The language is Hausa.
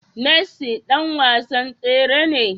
Messi dan wasan tsere ne?